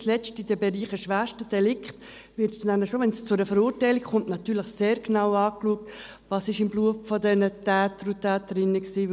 nicht zuletzt in den Bereichen schwerster Delikte wird nämlich bereits, wenn es zu einer Verurteilung kommt, natürlich schon sehr genau angeschaut, was im Blut der Täter und Täterinnen war.